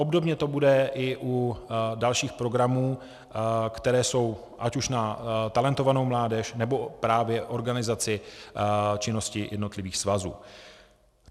Obdobně to bude i u dalších programů, které jsou, ať už na talentovanou mládež, nebo právě organizaci činnosti jednotlivých svazů.